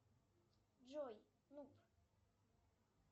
джой ну